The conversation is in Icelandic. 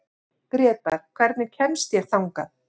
Grétar, hvernig kemst ég þangað?